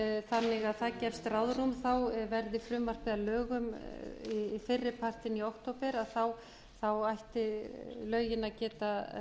þannig að það gefst ráðrúm þá verði frumvarpið að lögum fyrri partinn í október ættu lögin að geta